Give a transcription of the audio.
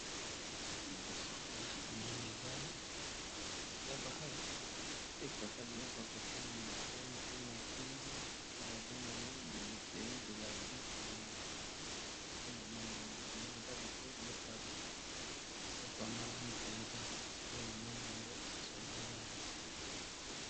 Liboso na nga na moni eza esika ba tekaka biloko ya ko tia na matoyi pe na kingo pe ba bengi yango bijouterie de la vie en or pe na moni yango armoire eza biloko ya malamu penza nte na moni yango osola yango .